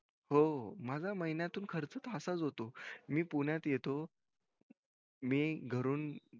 हो माझा महिन्यातून खरंच तासा च होतो मी पुण्यात येतो मी घरून